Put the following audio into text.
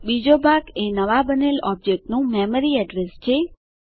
બીજો ભાગ એ નવાં બનેલ ઓબજેક્ટ નું મેમરી એડ્રેસ છે